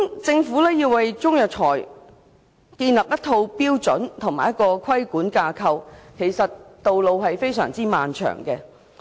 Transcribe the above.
政府要為中藥材建立一套標準及規管架構，道路其實非常漫長。